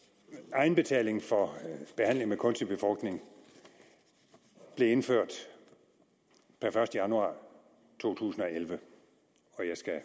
egenbetaling for behandling med kunstig befrugtning blev indført per første januar to tusind og elleve og jeg skal